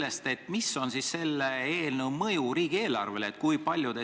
Ja teiseks: milline on selle eelnõu mõju riigieelarvele?